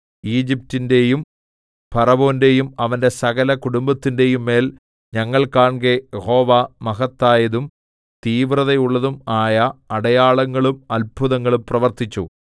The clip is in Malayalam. ഈജിപ്റ്റിന്റെയും ഫറവോന്റെയും അവന്റെ സകല കുടുംബത്തിന്റെയും മേൽ ഞങ്ങൾ കാൺകെ യഹോവ മഹത്തായതും തീവ്രതയുള്ളതും ആയ അടയാളങ്ങളും അത്ഭുതങ്ങളും പ്രവർത്തിച്ചു